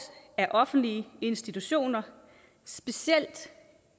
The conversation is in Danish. af offentlige institutioner specielt